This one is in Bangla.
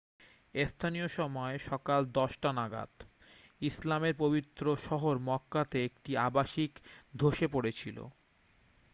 স্থানীয় সময় সকাল 10 টা নাগাদ ইসলামের পবিত্র শহর মক্কাতে একটি আবাসিক ধসে পড়েছিল